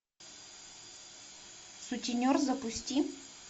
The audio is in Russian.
сутенер запусти